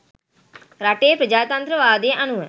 රටේ ප්‍රජාතන්ත්‍රවාදය අනුව